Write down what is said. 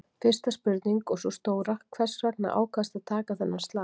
Fyrsta spurning og sú stóra, hvers vegna ákvaðstu að taka þennan slag?